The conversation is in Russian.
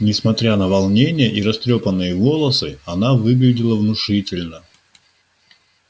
несмотря на волнение и растрёпанные волосы она выглядела внушительно